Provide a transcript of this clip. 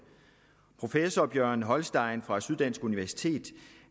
professor bjørn holstein fra syddansk universitet